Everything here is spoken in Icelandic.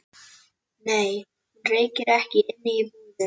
Nei, hún reykir ekki inni í búðinni.